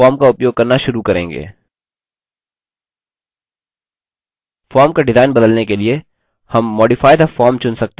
form का design बदलने के लिए हम modify the form चुन सकते हैं जिसे हम बाद में देखेंगे